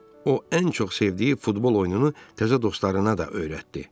O ən çox sevdiyi futbol oyununu təzə dostlarına da öyrətdi.